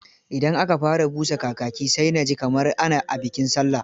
Idan aka fara busa kakaki. sai na ji kamar a bikin sallah.